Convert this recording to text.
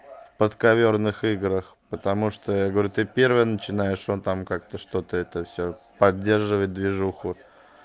подковёрных играх потому что я говорю ты первая начинаешь он там как-то что-то это всё поддерживает движуху